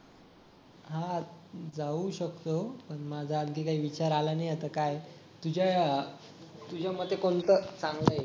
हा जाऊ शकतो पण माझं आणखी काही विचार आला नाही आता काय तुझ्या तुझ्या मते कोणत चांगलय